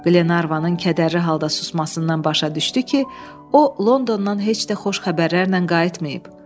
Glenarvanın kədərli halda susmasından başa düşdü ki, o Londondan heç də xoş xəbərlərlə qayıtmayıb.